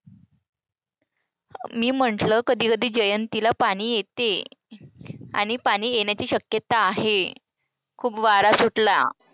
मी म्हंटलं कधी कधी जयंतीला पाणी येते. आणि पाणी येण्याची शक्यता आहे. खूप वारा सुटला.